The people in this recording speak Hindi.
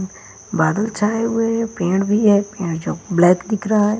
बादल छाए हुए हैं पेंड़ भी हैं पेंड़ जो ब्लैक दिख रहा है।